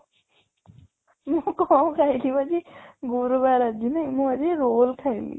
ମୁଁ କ'ଣ ଖାଇଲି ଆଜି ଗୁରୁବାର ଆଜି ନାଇଁ, ମୁଁ ଆଜି roll ଖାଇଲି